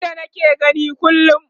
Wanda nake gani kullum